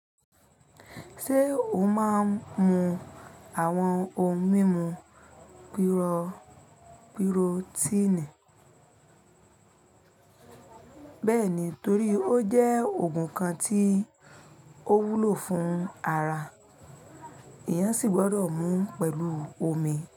Ṣé o máa ń mu àwọn ohun mímu pírótíìnì? Bẹ́ẹ̀ni, torí ó jẹ́ òògùn kan tí ó wúlò fún ara, èèyàn sì gbọdọ̀ mú pẹ̀lú omi.